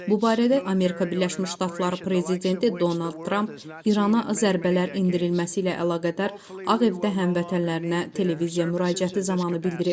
Bu barədə Amerika Birləşmiş Ştatları prezidenti Donald Tramp İrana zərbələr endirilməsi ilə əlaqədar Ağ Evdə həmvətənlərinə televiziya müraciəti zamanı bildirib.